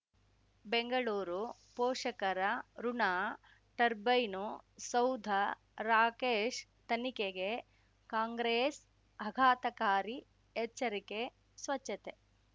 ಬೆಂಗಳೂರು ಪೋಷಕರ ಋಣ ಟರ್ಬೈನು ಸೌಧ ರಾಕೇಶ್ ತನಿಖೆಗೆ ಕಾಂಗ್ರೆಸ್ ಆಘಾತಕಾರಿ ಎಚ್ಚರಿಕೆ ಸ್ವಚ್ಛತೆ